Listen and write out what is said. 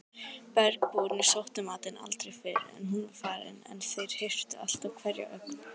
Bergbúarnir sóttu matinn aldrei fyrr en hún var farin en þeir hirtu alltaf hverja ögn.